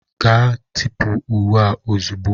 Gaa tipụ uwe a ozugbo!